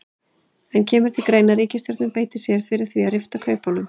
En kemur til greina að ríkisstjórnin beiti sér fyrir því að rifta kaupunum?